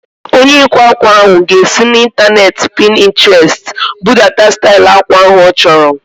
Onye ịkwa ákwà ahu ga-esi n'intaneeti Pintrestị budata stail akwa ahu ọ chọrọ